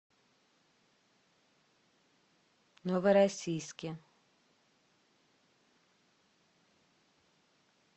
новороссийске